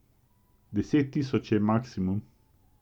Deset tisoč je maksimum.